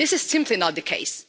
But this is simply not the case.